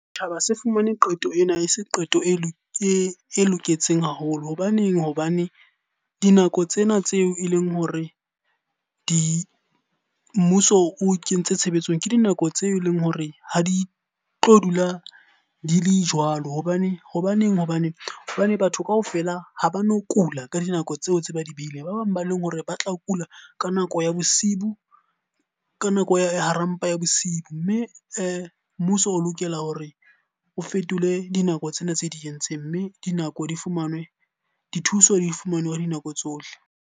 Setjhaba se fumane qeto ena e se qeto e loketseng haholo. Hobaneng? Hobane dinako tsena tseo e leng hore di, mmuso o kentse tshebetsong. Ke dinako tseo e leng hore ha di tlo dula di le jwalo Hobane batho kaofela ha ba no kula ka dinako tseo tse ba di beileng. Ba bang ba leng hore ba tla kula ka nako ya bosibu, ka nako ya hara mpa ya bosiu. Mme mmuso o lokela hore o fetole dinako tsena tse di entseng. Mme dinako di fumanwe, dithuso di fumanwe ka dinako tsohle.